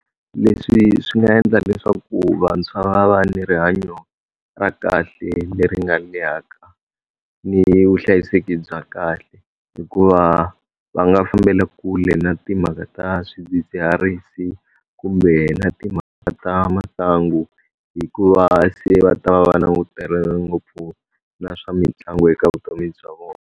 Leswi swi nga endla leswaku vantshwa va va ni rihanyo ra kahle leri nga lehaka, ni vuhlayiseki bya kahle hikuva va nga fambela kule na timhaka ta swidzidziharisi kumbe na timhaka ta masangu hikuva se va ta va va langutane ngopfu na swa mitlangu eka vutomi bya vona.